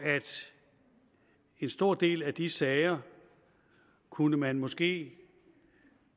en stor del af de sager kunne man måske